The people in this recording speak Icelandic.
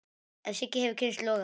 En Siggi hefur kynnst loga.